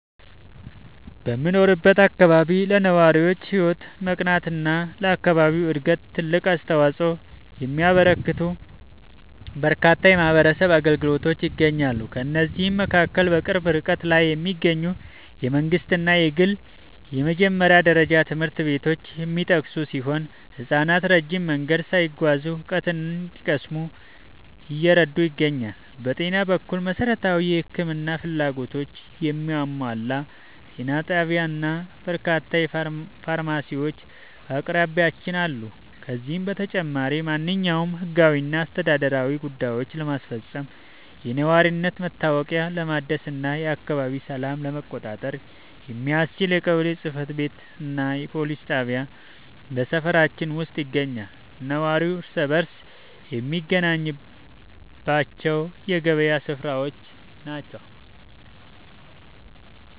በምኖርበት አካባቢ ለነዋሪዎች ሕይወት መቃናትና ለአካባቢው ዕድገት ትልቅ አስተዋፅኦ የሚያበረክቱ በርካታ የማኅበረሰብ አገልግሎቶች ይገኛሉ። ከእነዚህም መካከል በቅርብ ርቀት ላይ የሚገኙ የመንግሥትና የግል የመጀመሪያ ደረጃ ትምህርት ቤቶች የሚጠቀሱ ሲሆን፣ ሕፃናት ረጅም መንገድ ሳይጓዙ እውቀት እንዲቀስሙ እየረዱ ይገኛሉ። በጤና በኩል፣ መሠረታዊ የሕክምና ፍላጎቶችን የሚያሟላ ጤና ጣቢያና በርካታ ፋርማሲዎች በአቅራቢያችን አሉ። ከዚህም በተጨማሪ፣ ማንኛውንም ሕጋዊና አስተዳደራዊ ጉዳዮችን ለማስፈጸም፣ የነዋሪነት መታወቂያ ለማደስና የአካባቢውን ሰላም ለመቆጣጠር የሚያስችል የቀበሌ ጽሕፈት ቤትና የፖሊስ ጣቢያ በሰፈራችን ውስጥ ይገኛሉ። ነዋሪው እርስ በርስ የሚገናኝባቸው የገበያ ሥፍራዎችና